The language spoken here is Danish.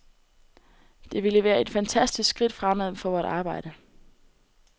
Det ville være et fantastisk skridt fremad for vort arbejde.